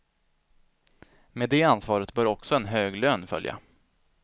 Med det ansvaret bör också en hög lön följa.